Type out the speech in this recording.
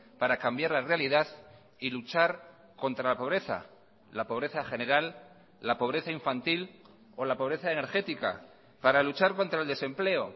para cambiar la realidad y luchar contra la pobreza la pobreza general la pobreza infantil o la pobreza energética para luchar contra el desempleo